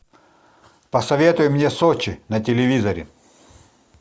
посоветуй мне сочи на телевизоре